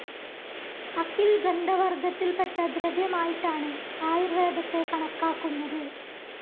അകിൽ ഗന്ധവർഗ്ഗത്തിൽപെട്ട ദ്രവ്യമായിട്ടാണ് ആയുർവേദത്തെ കണക്കാക്കുന്നത്.